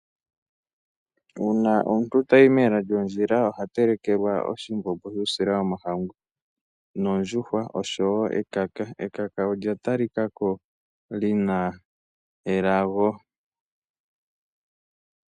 Uuna omuntu tayi mela lyondjila oha telekelwa oshimbombo shuusila womahangu nondjuhwa osho wo ekaka. Ekaka olya talika ko li na elago.